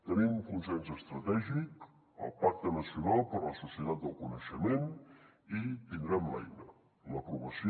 tenim consens estratègic el pacte nacional per a la societat del coneixement i tindrem l’eina l’aprovació